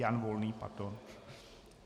Jan Volný, pardon.